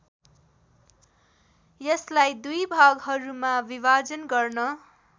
यसलाई दुई भागहरूमा विभाजन गर्न